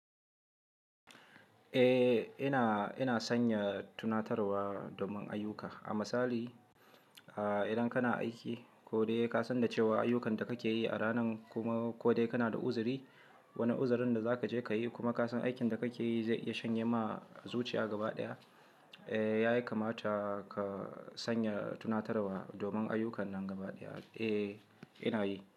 Eh, ina, ina sanya tunatarwa domin ayyuka. A misali,, idan kana aiki ko dai ka san cewa ayukan da kake yi a ranan kuma ko dai kana da uzuri, wani uzurin da za ka je ka yi kuma ka san aikin da kake yi zai iya shanye ma zuciya gaba ɗaya, eh, ya kamata ka sanya tunatarwa domin ayukan nan gaba ɗaya. Eh, ina yi.